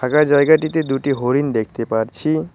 ফাঁকা জায়গাটিতে দুটি হরিণ দেখতে পারছি।